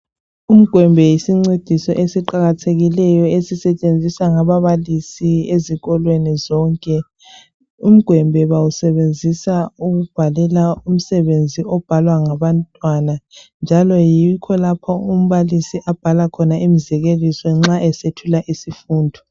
Ugwembe yisincediso esiqakathekileyo esisetshenziswa ngababalisi ezikolweni zonke, ugwembe bawusebenzisa ukubhalela umsebenzi obhalwa ngabantwana njalo yikho lapho umbalisi abhala imizekeliso nxa esethula isifundo.